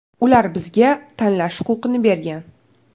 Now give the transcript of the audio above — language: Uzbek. Ular bizga tanlash huquqini bergan.